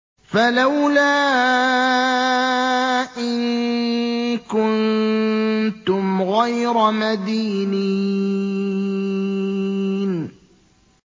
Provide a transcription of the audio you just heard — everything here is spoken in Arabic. فَلَوْلَا إِن كُنتُمْ غَيْرَ مَدِينِينَ